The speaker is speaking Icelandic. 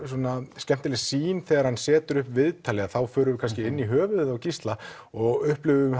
svona skemmtileg sýn þegar hann setur upp viðtalið þá förum við kannski inn í höfuðið á Gísla og upplifum